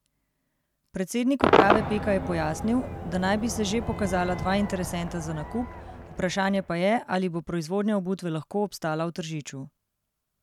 Predsednik uprave Peka je pojasnil, da naj bi se že pokazala dva interesenta za nakup, vprašanje pa je, ali bo proizvodnja obutve lahko obstala v Tržiču.